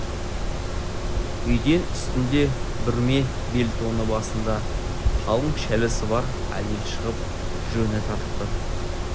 үйден үстінде бүрме бел тоны басында қалың шәлісі бар әйел шығып жөніне тартты